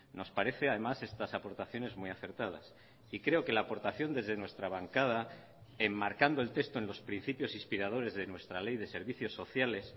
nos parece además estas aportaciones muy acertadas y creo que la aportación desde nuestra bancada enmarcando el texto en los principios inspiradores de nuestra ley de servicios sociales